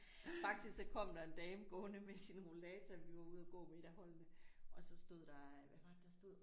Faktisk så kom der en dame gående med sin rollator vi var ude og gå med et af holdene og så stod der hvad var det der stod